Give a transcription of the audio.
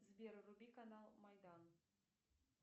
сбер вруби канал майдан